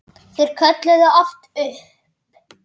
Þeir kölluðu oft upp